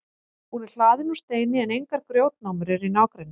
hún er hlaðin úr steini en engar grjótnámur eru í nágrenninu